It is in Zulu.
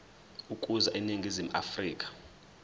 ukuza eningizimu afrika